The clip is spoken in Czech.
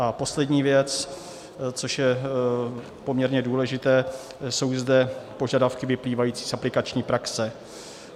A poslední věc, což je poměrně důležité, jsou zde požadavky vyplývající z aplikační praxe.